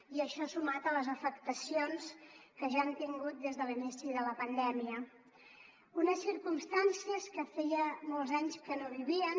i això sumat a les afectacions que ja han tingut des de l’inici de la pandèmia unes circumstàncies que feia molts anys que no vivien